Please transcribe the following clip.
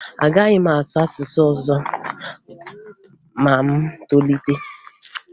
Agaghị m asụ asụsụ ọzọ ma m tolite